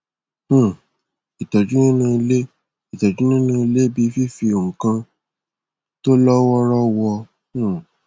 um ìtọjú nínú ilé ìtọjú nínú ilé bí i fifi nǹkan tó lọ wọọrọ wọ um